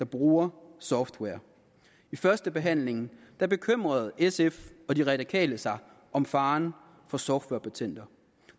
bruger software ved førstebehandlingen bekymrede sf og de radikale sig om faren for softwarepatenter